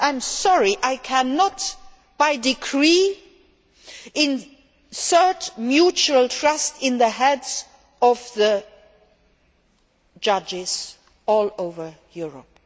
I am sorry, I cannot by decree insert mutual trust in the heads of the judges all over Europe!